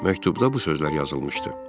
Məktubda bu sözlər yazılmışdı: